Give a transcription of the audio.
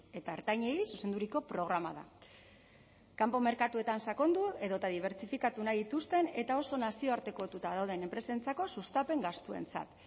eta ertainei zuzenduriko programa da kanpo merkatuetan sakondu edota dibertsifikatu nahi dituzten eta oso nazioartekotuta dauden enpresentzako sustapen gastuentzat